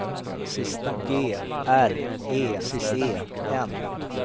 G R E E N